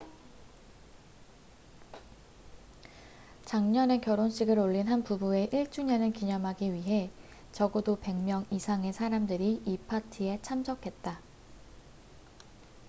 작년에 결혼식을 올린 한 부부의 1주년을 기념하기 위해 적어도 100명 이상의 사람들이 이 파티에 참석했다